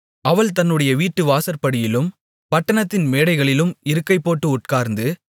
அவள் தன்னுடைய வீட்டுவாசற்படியிலும் பட்டணத்தின் மேடைகளிலும் இருக்கைபோட்டு உட்கார்ந்து